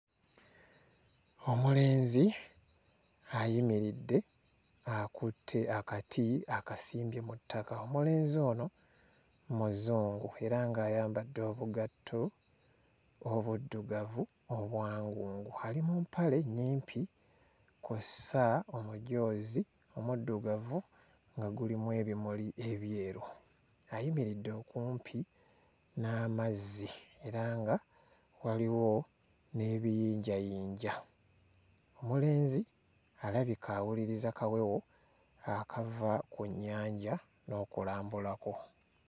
Omulenzi ayimiridde akutte akati akasimbye mu ttaka, omulenzi ono muzungu era ng'ayambadde obugatto obuddugavu obwangungu, ali mu mpale nnyimpi kw'ossa omujoozi omuddugavu nga gulimu ebimuli ebyeru, ayimiridde okumpi n'amazzi era nga waliwo n'ebiyinjayinja, omulenzi alabika awuliriza kawewo akava ku nnyanja n'okulambulako.